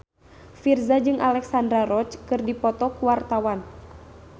Virzha jeung Alexandra Roach keur dipoto ku wartawan